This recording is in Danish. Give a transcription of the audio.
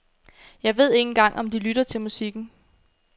Jeg ved ikke engang om de lytter til musikken.